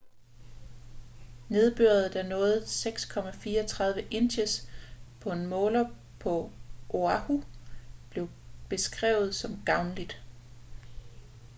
nedbøret der nåede 6,34 inches på en måler på oahu blev beskrevet som gavnligt